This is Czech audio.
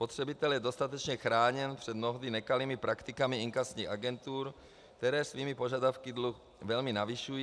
Spotřebitel je dostatečně chráněn před mnohdy nekalými praktikami inkasních agentur, které svými požadavky dluh velmi navyšují.